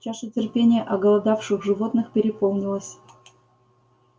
чаша терпения оголодавших животных переполнилась